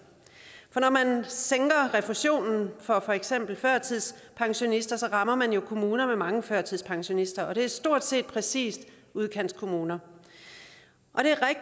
for når man sænker refusionen for for eksempel førtidspensionister rammer man jo kommuner med mange førtidspensionister og det er stort set præcis udkantskommuner